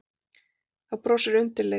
Þá brosirðu undirleitur.